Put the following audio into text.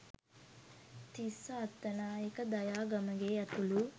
තිස්ස අත්තනායක දයා ගමගේ ඇතුළු